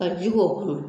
Ka ji k'o kɔnɔ